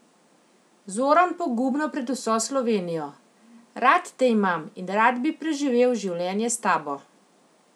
Zoran pogumno pred vso Slovenijo: "Rad te imam in rad bi preživel življenje s tabo.